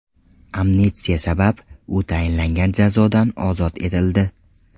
Amnistiya sabab, u tayinlangan jazodan ozod etildi.